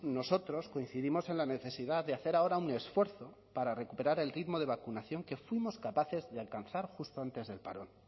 nosotros coincidimos en la necesidad de hacer ahora un esfuerzo para recuperar el ritmo de vacunación que fuimos capaces de alcanzar justo antes del parón